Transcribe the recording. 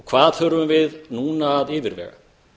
hvað þurfum við núna að yfirvega